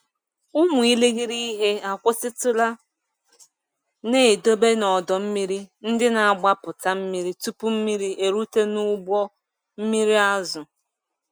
Ụmụ irighiri ihe akwụsịtụla na-edobe n'ọdọ mmiri ndị na-agbapụta mmiri tupu mmiri erute n'ụgbọ mmiri azụ.